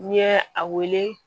N'i ye a wele